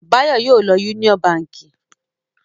Báyọ̀ yóò lọ Union Báńkì!